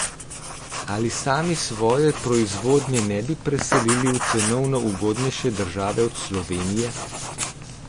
Ali sami svoje proizvodnje ne bi preselili v cenovno ugodnejše države od Slovenije?